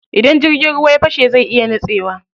Idan jirgin ruwa ya fashe zai iya nitsewa.